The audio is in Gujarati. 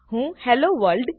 હું હેલ્લો વર્લ્ડ